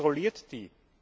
Wer kontrolliert die?